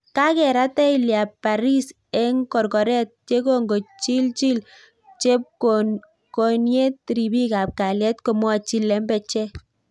Kakerat Tyler Bariss eng korkoret yekongochilchil chepkokoniet ripik ap kalyet komwachi lembechek